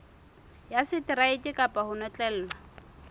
ya seteraeke kapa ho notlellwa